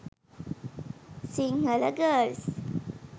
sinhala girls